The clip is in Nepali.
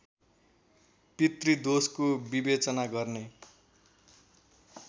पितृदोषको विवेचना गर्ने